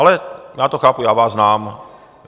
Ale já to chápu, já vás znám.